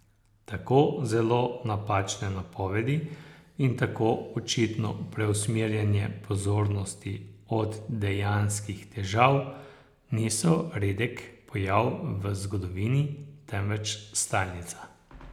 Tako zelo napačne napovedi in tako očitno preusmerjanje pozornosti od dejanskih težav niso redek pojav v zgodovini, temveč stalnica.